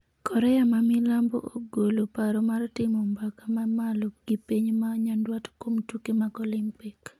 Korea ma milambo ogolo paro mar timo mbaka ma malo gi piny ma nyandwat kuom tuke mag Olimpik